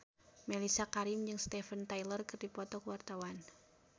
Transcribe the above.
Mellisa Karim jeung Steven Tyler keur dipoto ku wartawan